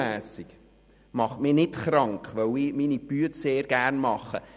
Dies macht mich nicht krank, weil ich meine Arbeit sehr gerne mache.